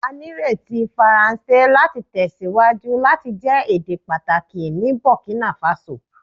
A nireti Faranse lati tẹsiwaju lati jẹ ede pataki ni Burkina Faso